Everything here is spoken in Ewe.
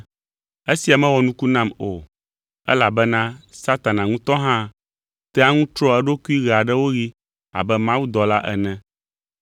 Esia mewɔ nuku nam o, elabena Satana ŋutɔ hã tea ŋu trɔa eɖokui ɣe aɖewo ɣi abe Mawudɔla ene.